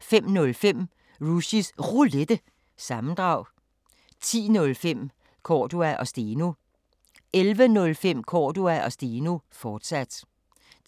05:05: Rushys Roulette – sammendrag 10:05: Cordua & Steno 11:05: Cordua & Steno, fortsat